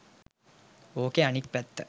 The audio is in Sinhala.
ඕකෙ අනිත් පැත්ත.